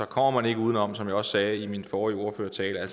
kommer man ikke uden om som jeg også sagde i min forrige ordførertale at